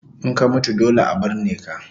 In ka mutu dole a burne ka